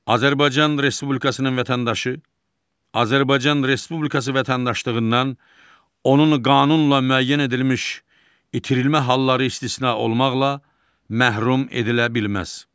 Azərbaycan Respublikasının vətəndaşı Azərbaycan Respublikası vətəndaşlığından onun qanunla müəyyən edilmiş itirilmə halları istisna olmaqla məhrum edilə bilməz.